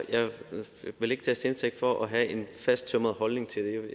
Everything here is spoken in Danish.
vil ikke tages til indtægt for at have en fasttømret holdning til det